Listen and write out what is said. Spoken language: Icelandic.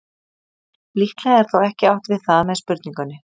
Líklega er þó ekki átt við það með spurningunni.